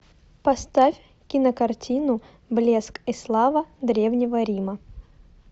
поставь кинокартину блеск и слава древнего рима